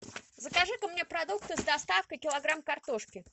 закажи ка мне продукты с доставкой килограмм картошки